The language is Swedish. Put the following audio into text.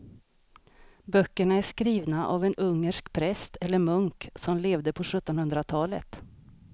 Böckerna är skrivna av en ungersk präst eller munk som levde på sjuttonhundratalet.